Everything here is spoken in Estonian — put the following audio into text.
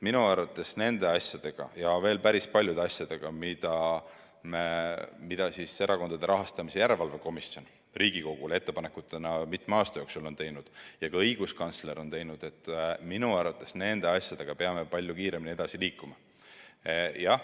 Minu arvates peame nende ja veel päris paljude teiste asjadega, mida Erakondade Rahastamise Järelevalve Komisjon on Riigikogule mitme aasta jooksul ettepanekutena teinud ja mida ka õiguskantsler on teinud, palju kiiremini edasi liikuma.